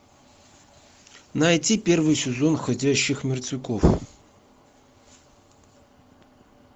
найти первый сезон ходящих мертвяков